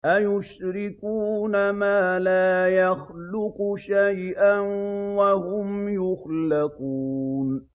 أَيُشْرِكُونَ مَا لَا يَخْلُقُ شَيْئًا وَهُمْ يُخْلَقُونَ